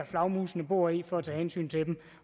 flagermusene bor i for at tage hensyn til dem